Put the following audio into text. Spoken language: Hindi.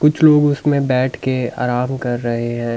कुछ लोग उसमें बैठ के आराम कर रहे हैं।